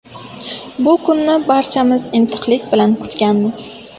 Bu kunni barchamiz intiqlik bilan kutganmiz.